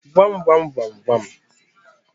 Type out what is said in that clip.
Gwa m gwamgwamgwam